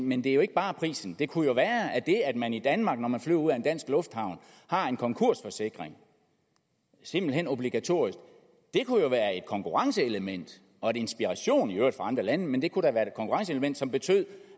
men det er jo ikke bare prisen det kunne jo være at det at man i danmark når man flyver ud af en dansk lufthavn har en konkursforsikring simpelt hen obligatorisk kunne være et konkurrenceelement og en inspiration i øvrigt for andre lande men det kunne da være et konkurrenceelement som betød